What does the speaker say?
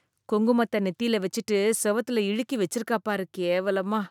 குங்குமத்த நெத்தில வெச்சுட்டு செவுத்துல இழுக்கி வெச்சிருக்காப் பாரு, கேவலமா.